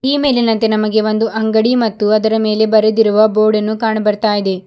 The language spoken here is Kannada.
ಈ ಮೇಲಿನಂತೆ ನಮಗೆ ಒಂದು ಅಂಗಡಿ ಮತ್ತು ಅದರ ಮೇಲೆ ಬರೆದಿರುವ ಬೋರ್ಡನ್ನು ಕಾಣ ಬರ್ತಾ ಇದೆ.